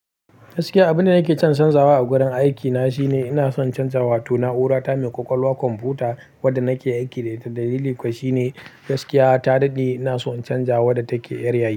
Gaskiya abin da nake son canzawa a gurin aikina shine ina son canjawa wato na'urori ta mai ƙwaƙwalwa komfuta wadda nake aiki da ita. Dalili kuwa shine gaskiya ta daɗe ina so in canja wadda take yar yari.